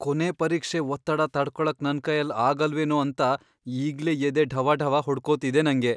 ಕೊನೇ ಪರೀಕ್ಷೆ ಒತ್ತಡ ತಡ್ಕೊಳಕ್ ನನ್ಕೈಲ್ ಆಗಲ್ವೇನೋ ಅಂತ ಈಗ್ಲೇ ಎದೆ ಢವಢವ ಹೊಡ್ಕೋತಿದೆ ನಂಗೆ.